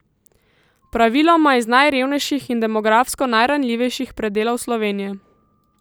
Praviloma iz najrevnejših in demografsko najranljivejših predelov Slovenije.